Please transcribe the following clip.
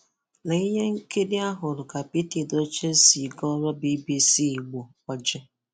Lee ihe nkiri a hụ́rụ̀ ka Pete Edochie si gọ̀ọrọ̀ BBC Igbo ọ́jị̀: